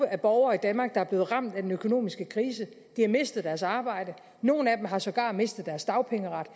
af borgere i danmark der er blevet ramt af den økonomiske krise de har mistet deres arbejde nogle af dem har sågar mistet deres dagpengeret og